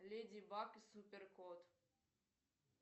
леди баг и супер кот